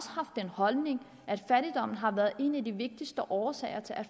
haft den holdning at fattigdom har været en af de vigtigste årsager til at